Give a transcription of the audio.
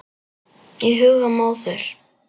Í huga móður